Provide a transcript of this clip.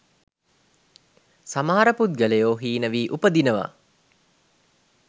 සමහර පුද්ගලයෝ හීන වී උපදිනවා.